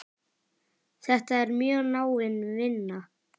Þetta er mjög náin vinna.